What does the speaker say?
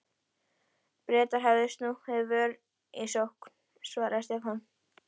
Bretar hafa snúið vörn í sókn, sagði Stefán.